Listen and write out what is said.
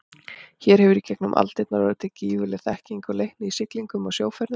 Hér hefur í gegnum aldirnar orðið til gífurleg þekking og leikni í siglingum og sjóferðum.